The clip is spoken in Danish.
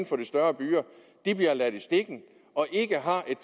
for de større byer bliver ladt i stikken og ikke har et